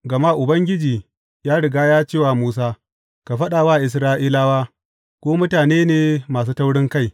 Gama Ubangiji ya riga ya ce wa Musa, Ka faɗa wa Isra’ilawa, Ku mutane ne masu taurinkai.